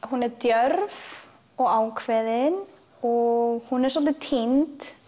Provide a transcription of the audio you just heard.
hún er djörf og ákveðin og hún er svolítið týnd